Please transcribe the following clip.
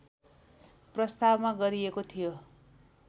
प्रस्तावमा गरिएको थियो